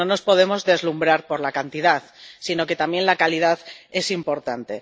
Pero no nos podemos deslumbrar por la cantidad, sino que también la calidad es importante.